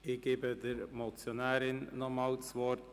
Ich gebe der Motionärin noch einmal das Wort.